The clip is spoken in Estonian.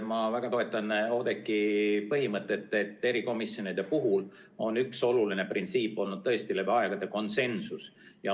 Ma väga toetan Oudekki põhimõtet, et erikomisjonide puhul on üks oluline printsiip olnud läbi aegade konsensus.